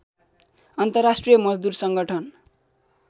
अन्तर्राष्ट्रिय मजदुर सङ्गठन